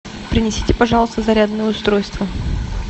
принесите пожалуйста зарядное устройство